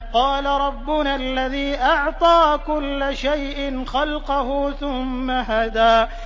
قَالَ رَبُّنَا الَّذِي أَعْطَىٰ كُلَّ شَيْءٍ خَلْقَهُ ثُمَّ هَدَىٰ